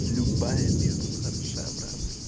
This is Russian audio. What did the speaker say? любая бизнес хороша брат